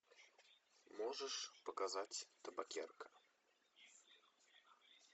можешь показать табакерка